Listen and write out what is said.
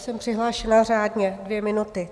Jsem přihlášena řádně, dvě minuty.